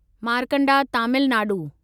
Markanda Tamil Nadu